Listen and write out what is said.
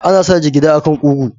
Ana sa jigida a kan kugu.